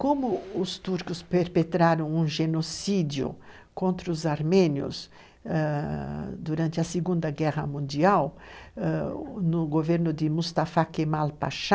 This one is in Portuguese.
Como os turcos perpetraram um genocídio contra os armênios durante a Segunda Guerra Mundial, no governo de Mustafa Kemal Pasha,